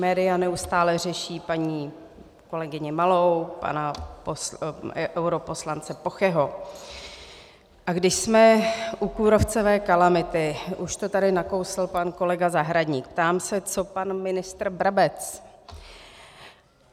Média neustále řeší paní kolegyni Malou, pana europoslance Pocheho, a když jsme u kůrovcové kalamity, už to tady nakousl pan kolega Zahradník - ptám se, co pan ministr Brabec?